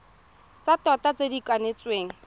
tsa tota tse di kanetsweng